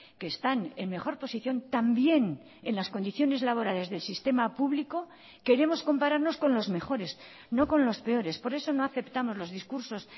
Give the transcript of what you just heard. que están en mejor posición también en las condiciones laborales del sistema público queremos compararnos con los mejores no con los peores por eso no aceptamos los discursos